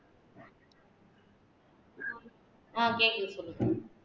ஆஹ் கேக்குது சொல்லுங்க